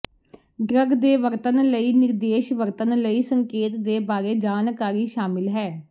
drug ਦੇ ਵਰਤਣ ਲਈ ਨਿਰਦੇਸ਼ ਵਰਤਣ ਲਈ ਸੰਕੇਤ ਦੇ ਬਾਰੇ ਜਾਣਕਾਰੀ ਸ਼ਾਮਿਲ ਹੈ